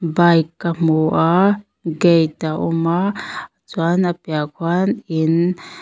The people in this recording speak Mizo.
bike ka hmu a gate a awm a chuan a piahah khuan in.